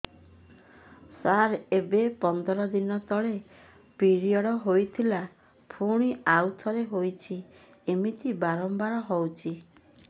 ସାର ଏବେ ପନ୍ଦର ଦିନ ତଳେ ପିରିଅଡ଼ ହୋଇଥିଲା ପୁଣି ଆଉଥରେ ହୋଇଛି ଏମିତି ବାରମ୍ବାର ହଉଛି